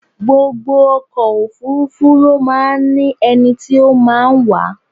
Gbogbo ọkọ̀ òfúrúfú ló máa ń ní ẹni tí o máa ń wà á.